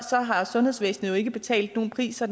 så har sundhedsvæsenet jo ikke betalt nogen pris så